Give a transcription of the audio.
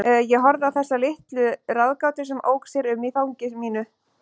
Ég horfði á þessa litla ráðgátu sem ók sér um í fangi mínu.